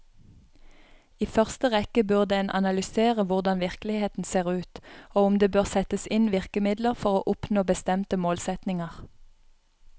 I første rekke burde en analysere hvordan virkeligheten ser ut, og om det bør settes inn virkemidler for å oppnå bestemte målsetninger.